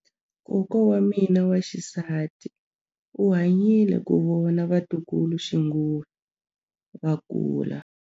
Kokwa wa mina wa xisati u hanyile ku vona vatukuluxinghuwe va kula.